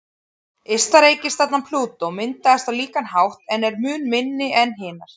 Ysta reikistjarnan, Plútó, myndaðist á líkan hátt en er mun minni en hinar.